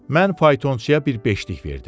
Mən faytonçuya bir beşlik verdim.